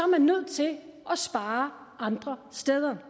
man nødt til at spare andre steder